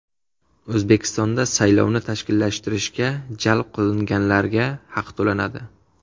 O‘zbekistonda saylovni tashkillashtirishga jalb qilinganlarga haq to‘lanadi.